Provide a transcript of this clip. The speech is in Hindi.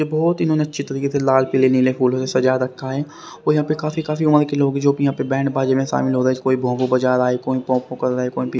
बहुत इन्होंने अच्छी तरीके से लाल पीले नीले फूलों से सजा रखा है और यहाँ पे काफी काफी उम्र के लोग जो भी यहाँ पे बैंडबाजी में शामिल हो रहे हैं कोई भोभो बजा रहा है कोई पोंपो कर रह--